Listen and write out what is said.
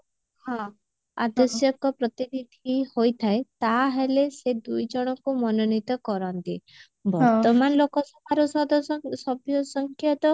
ହଁ ଆବଶ୍ୟକ ପ୍ରତିନିଧି ହୋଇଥାଏ ତାହେଲେ ସେ ଦୁଇ ଜଣଙ୍କୁ ମନୋନୀତ କରନ୍ତି ବର୍ତମାନ ଲୋକସଭାର ସଦସ୍ୟ ସଭ୍ୟ ସଂଖ୍ୟା ତ